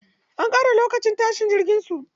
An ƙara lokacin tashin jirgin su.